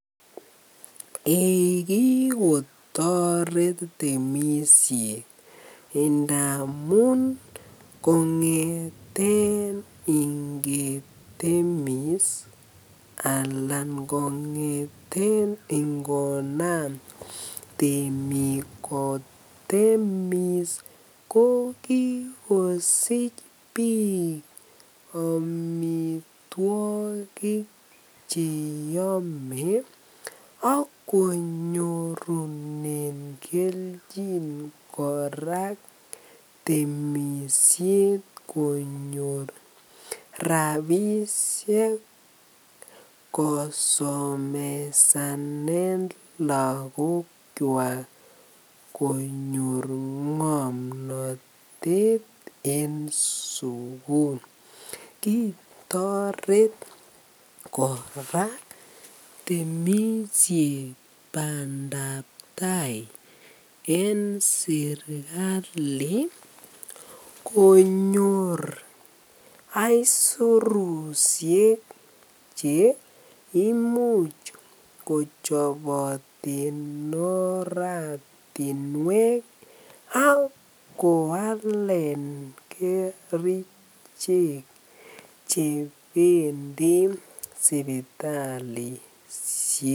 Eii kikotoret temishet ngamun komngeten ingetemis alaan kongeten ngonam temik kotemis ko kikosich biik amitwokik cheyome ak konyorunen kelchin kora temishet konyor rabishek kosomesanen lokokwak konyor ngomnotet en sukul, kitoret kora temishet bandab taai en serikali konyor aisurushek cheimuch kochoboten oratinwek ak koalen kerichek chebendi sibitalishek.